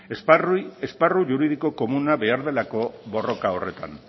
esparru juridiko komuna behar delako borroka horretan